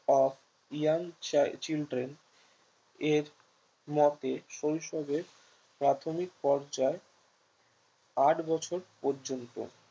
of young children এর মতে শৈশবের প্রাথমিক পর্যায় আট বছর পর্যন্ত